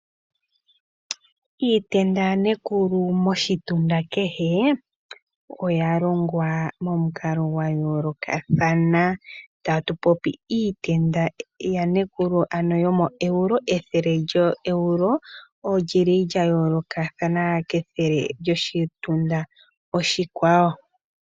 Iitenda ya nekulu moshitunda kehe oya longwa momukalo gwa yolokathana, tatu popi iitenda ya nekulu yo moEuro, ethele lyo Euro olya yolokathana kethele lyoshitunda oshikwawo.